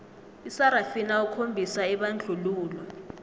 isarafina okhombisa ibandlululo